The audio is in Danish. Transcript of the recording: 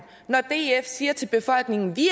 når df siger til befolkningen vi